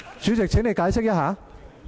主席，請你解釋一下。